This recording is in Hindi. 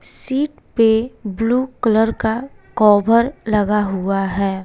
सीट पे ब्लू कलर का कोभर लगा हुआ है।